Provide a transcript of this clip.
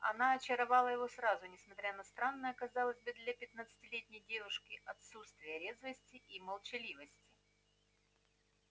она очаровала его сразу несмотря на странное казалось бы для пятнадцатилетней девушки отсутствие резвости и молчаливость